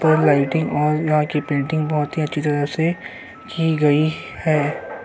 और लाइटिंग और यहाँ की पेंटिंग बहुत ही अच्छी तरह से की गई है।